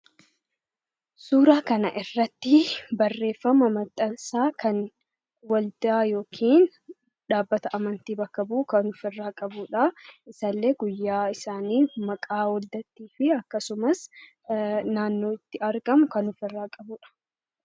Suuraa kana irratti barreeffama maxxansaa kan waldaa yookiin dhaabbata amantii bakka bu'u kan ofirraa qabudha. Isallee guyyaa isaanii, maqaa waldittii akkasumas naannoo itti argamu kan ofirraa qabudha.